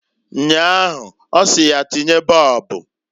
Nnyaa ahụ ọsị ya tinye bọọbụǃ